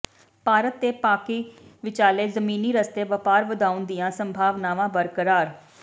ਭਾਰਤ ਤੇ ਪਾਕਿ ਵਿਚਾਲੇ ਜ਼ਮੀਨੀ ਰਸਤੇ ਵਪਾਰ ਵਧਾਉਣ ਦੀਆਂ ਸੰਭਾਵਨਾਵਾਂ ਬਰਕਰਾਰ